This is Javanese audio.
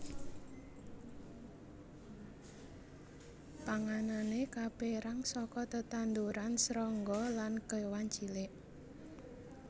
Panganané kapérang saka tetanduran srangga lan kéwan cilik